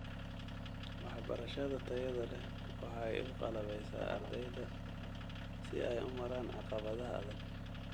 Waxbarashada tayada leh waxay u qalabaysaa ardayda si ay u maraan caqabadaha adag.